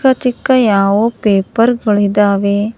ಚಿಕ್ಕ ಚಿಕ್ಕ ಯಾವೋ ಪೇಪರ್ ಗಳಿದಾವೆ.